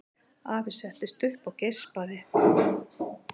Afi settist upp og geispaði.